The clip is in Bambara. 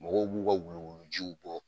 Mɔgɔw b'u ka wuluwulujiw bɔ